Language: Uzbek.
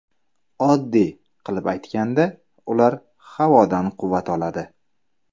Oddiy qilib aytganda, ular havodan quvvat oladi.